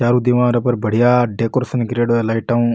चारो दीवारों पर बढ़िया डेकोरेशन करेड़ों है लाइट ऊ।